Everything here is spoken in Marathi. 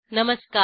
नमस्कार